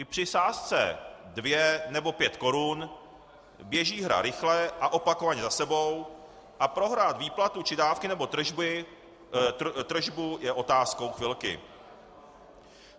I při sázce dvě nebo pět korun běží hra rychle a opakovaně za sebou a prohrát výplatu či dávky nebo tržbu je otázkou chvilky.